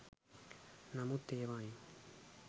නමුත් ඒවායින්